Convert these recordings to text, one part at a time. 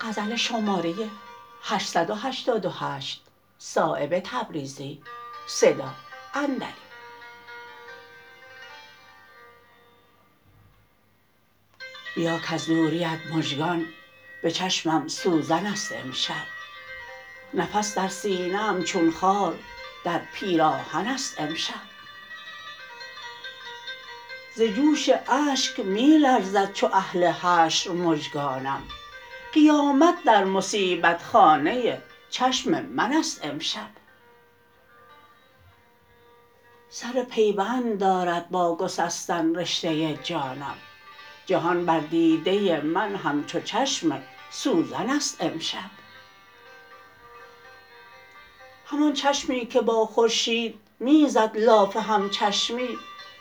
بیا کز دوریت مژگان به چشمم سوزن است امشب نفس در سینه ام چون خار در پیراهن است امشب ز جوش اشک می لرزد چو اهل حشر مژگانم قیامت در مصیبت خانه چشم من است امشب سر پیوند دارد با گسستن رشته جانم جهان بر دیده من همچو چشم سوزن است امشب همان چشمی که با خورشید می زد لاف همچشمی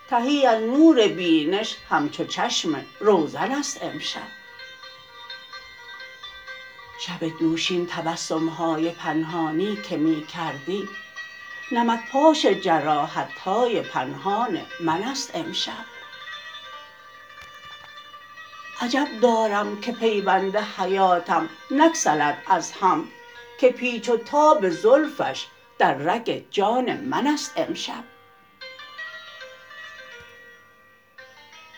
تهی از نور بینش همچو چشم روزن است امشب شب دوشین تبسم های پنهانی که می کردی نمک پاش جراحت های پنهان من است امشب عجب دارم که پیوند حیاتم نگسلد از هم که پیچ و تاب زلفش در رگ جان من است امشب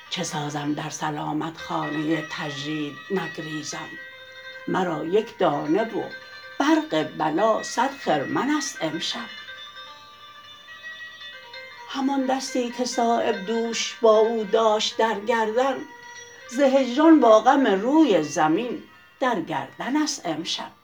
چه سازم در سلامت خانه تجرید نگریزم مرا یک دانه و برق بلا صد خرمن است امشب همان دستی که صایب دوش با او داشت در گردن ز هجران با غم روی زمین در گردن است امشب